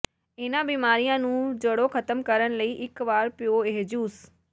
ਇਨ੍ਹਾਂ ਬਿਮਾਰੀਆਂ ਨੂੰ ਜੜ੍ਹੋਂ ਖ਼ਤਮ ਕਰਨ ਲਈ ਇੱਕ ਵਾਰ ਪੀਓ ਇਹ ਜੂਸ